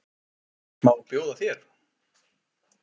Má bjóða þér?